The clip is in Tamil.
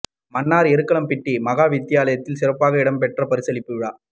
மன்னார் எருக்கலம்பிட்டி மகா வித்தியாலயத்தில் சிறப்பாக இடம் பெற்ற பரிசளிப்பு விழா